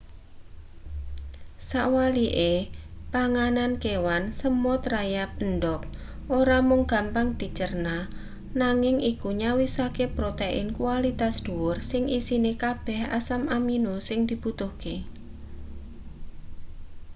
sawalike panganan kewan semut rayap endhog ora mung gampang dicerna nanging iku nyawisake protein kualitas dhuwur sing isine kabeh asam amino sing dibutuhake